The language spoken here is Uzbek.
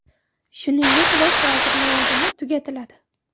Shuningdek, bosh vazir lavozimi tugatiladi.